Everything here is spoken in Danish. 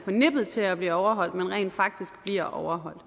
nippet til at blive overholdt man rent faktisk bliver overholdt